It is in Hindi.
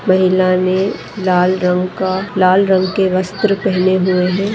महिला ने लाल रंग का लाल रंग के वस्त्र पहने हुए हैं।